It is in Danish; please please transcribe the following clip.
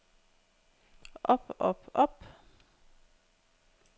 op op op